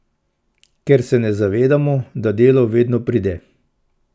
Ker se ne zavedamo, da delo vedno pride.